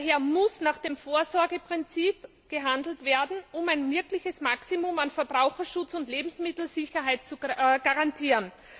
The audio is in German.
Daher muss nach dem Vorsorgeprinzip gehandelt werden, um ein wirkliches Maximum an Verbraucherschutz und Lebensmittelsicherheit zu garantieren.